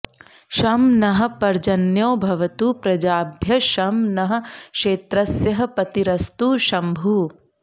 शं नः॑ प॒र्जन्यो॑ भवतु प्र॒जाभ्यः॒ शं नः॒ क्षेत्र॑स्य॒ पति॑रस्तु श॒म्भुः